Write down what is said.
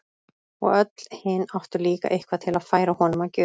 Og öll hin áttu líka eitthvað til að færa honum að gjöf.